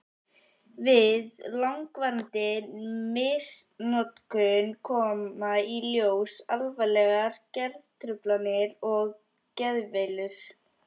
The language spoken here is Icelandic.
Við langvarandi misnotkun koma í ljós alvarlegar geðtruflanir og geðveilur.